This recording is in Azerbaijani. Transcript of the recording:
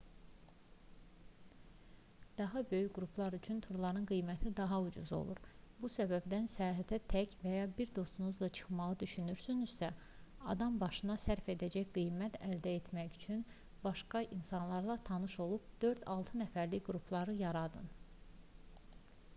daha böyük qruplar üçün turların qiyməti daha ucuz olur bu səbəbdən səyahətə tək və ya bir dostunuzla çıxmağı düşünürsünüzsə adambaşına sərf edəcək qiymət əldə etmək üçün başqa insanlarla tanış olub 4-6 nəfərlik qruplar yaradın